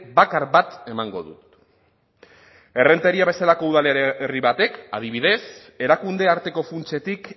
bakar bat emango dut errenteria bezalako udalerri batek adibidez erakunde arteko funtsetik